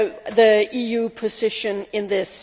the EU position on this.